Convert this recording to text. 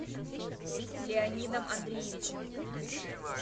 леонидом андреевичем